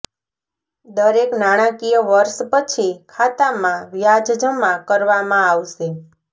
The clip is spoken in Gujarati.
દરેક નાણાકીય વર્ષ પછી ખાતામાં વ્યાજ જમા કરવામાં આવશે